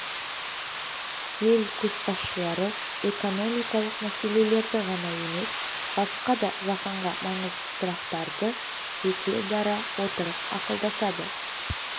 ел көшбасшылары экономикалық мәселелерді ғана емес басқа да жаһанға маңызды сұрақтарды жеке дара отырып ақылдасады